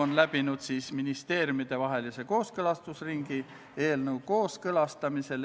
Antud eelnõu esitas Vabariigi Valitsus k.a 10. septembril.